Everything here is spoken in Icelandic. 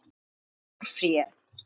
Þykir stórfé.